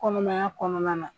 kɔnɔma kɔnɔna la